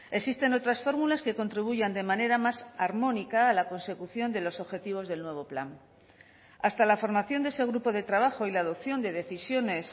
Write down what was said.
existen otras fórmulas que contribuyan de manera más armónica la consecución de los objetivos del nuevo plan hasta la formación de ese grupo de trabajo y la adopción de decisiones